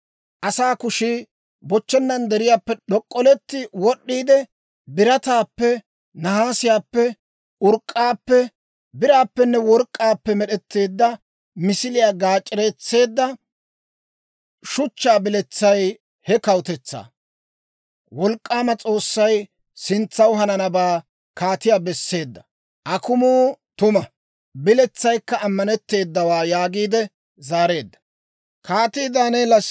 Asaa kushii bochchennan deriyaappe d'ok'k'oletti wod'd'iide, birataappe, nahaasiyaappe, urk'k'aappe, biraappenne work'k'aappe med'etteedda misiliyaa gaac'ereetseedda shuchchaa biletsay he kawutetsaa. «Wolk'k'aama S'oossay sintsanaw hananabaa kaatiyaa besseedda. Akumuukka tuma; biletsaykka ammanetteedawaa» yaagiide zaareedda.